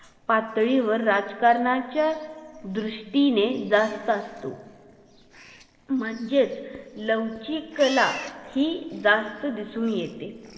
पातळीवर राजकारणाच्या दृष्टीने जास्त असतो म्हणजेच लवचिकल हि जास्त दिसून येते